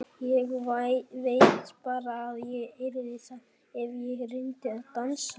Ég veit bara að ég yrði það ef ég reyndi að dansa.